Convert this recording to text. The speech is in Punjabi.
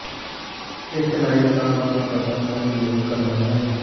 ਇੱਕ ਲਾਈਵ ਤਾਰ ਦਾ ਪਤਾ ਕਰਨ ਲਈ ਕਰਨਾ ਹੈ